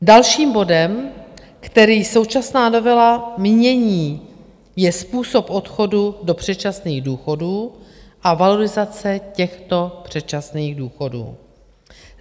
Dalším bodem, který současná novela mění, je způsob odchodu do předčasných důchodů a valorizace těchto předčasných důchodů.